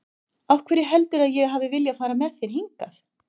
Af hverju heldurðu að ég hafi viljað fara með þér hingað?